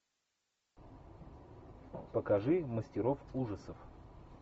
покажи мастеров ужасов